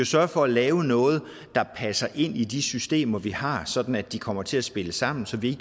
sørge for at lave noget der passer ind i de systemer vi har sådan at de kommer til at spille sammen så vi